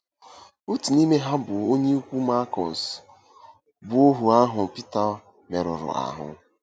Otu n’ime ha bụ onye ikwu Malkọs, bụ́ ohu ahụ Pita merụrụ ahụ.